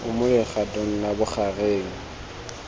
o mo legatong la bogareng